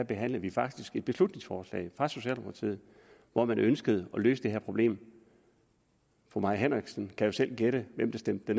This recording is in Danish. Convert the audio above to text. behandlede vi faktisk et beslutningsforslag fra socialdemokratiet hvormed man ønskede at løse det her problem fru mai henriksen kan jo selv gætte hvem der stemte